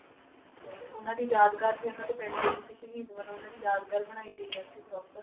ਤੇ ਉਹਨਾਂ ਦੀ ਯਾਦਗਾਰ ਵੀ ਉਹਨਾਂ ਦੇ ਪਿੰਡ ਵਿੱਚ ਇੱਕ ਸ਼ਹੀਦ ਵਜੋਂ ਉਹਨਾਂ ਦੀ ਯਾਦਗਾਰ ਬਣਾਈ ਗਈ ਹੈ ਉੱਥੇ proper